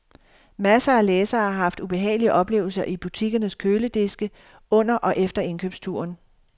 Masser af læsere har haft ubehagelige oplevelser i butikkernes kølediske under og efter indkøbsturen.